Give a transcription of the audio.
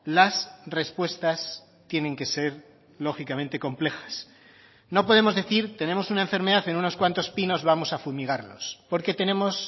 las respuestas tienen que ser lógicamente complejas no podemos decir tenemos una enfermedad en unos cuantos pinos vamos a fumigarlos porque tenemos